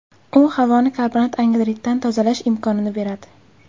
U havoni karbonat angidriddan tozalash imkonini beradi.